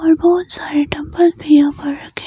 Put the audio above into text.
और बहुत सारे डंबल भी यहां पर रखे--